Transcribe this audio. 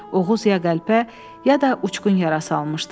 Oğuz ya qəlpə, ya da uçqun yarası almışdı.